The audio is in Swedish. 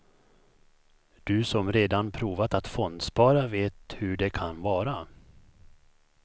Du som redan provat att fondspara vet hur det kan vara.